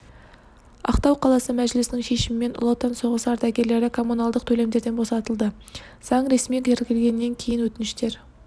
ақтау қаласы мәжілісінің шешімімен ұлы отан соғысы ардагерлері коммуналдық төлемдерден босатылды заң ресми тіркелгеннен кейін өтініштер